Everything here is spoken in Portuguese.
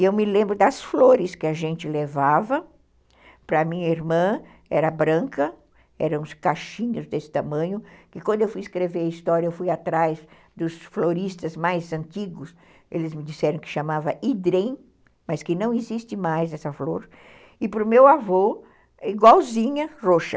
E eu me lembro das flores que a gente levava, para a minha irmã era branca, eram uns caixinhos desse tamanho, que quando eu fui escrever a história, eu fui atrás dos floristas mais antigos, eles me disseram que chamava hidrem, mas que não existe mais essa flor, e para o meu avô, igualzinha, roxa.